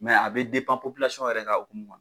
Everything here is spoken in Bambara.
a bɛ yɛrɛ ka hokumu